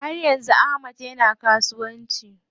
Haryan Ahmad yana kasuwanci.